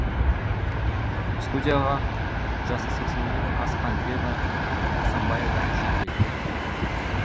студияға жасы сексеннен асқан лена тоқсанбаева әже келеді